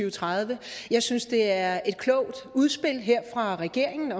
og tredive jeg synes det er et klogt udspil her fra regeringen